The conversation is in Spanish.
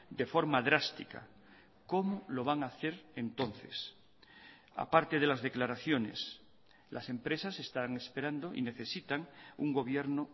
de forma drástica cómo lo van a hacer entonces a parte de las declaraciones las empresas están esperando y necesitan un gobierno